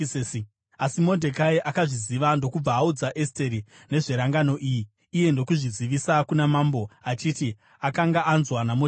Asi Modhekai akazviziva ndokubva audza Esteri nezverangano iyi, iye ndokuzvizivisa kuna mambo, achiti akanga anzwa naModhekai.